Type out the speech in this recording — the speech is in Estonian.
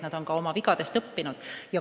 Nad on ka oma vigadest õppinud.